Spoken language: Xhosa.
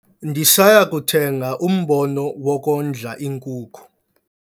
Ndisaya kuthenga umbono wokondla iinkuku.